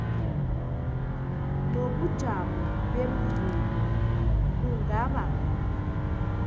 nobujamo bemvumo kungaba